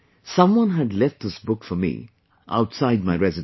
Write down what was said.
Someone had left this book for me outside my residence